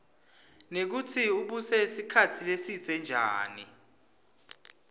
nekutsi ubuse sikhatsi lesibze njani